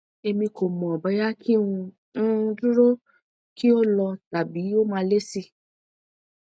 emi ko mo boya ki n um duro ki o lo tabi o ma le si